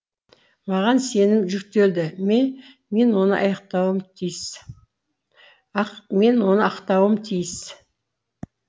маған сенім жүктелді ме мен оны ақтауым тиіс мен оны ақтауым тиіс